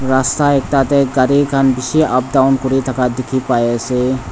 Rasta ekta dae ghari khan beshi up down kure thaka dekhe pai ase.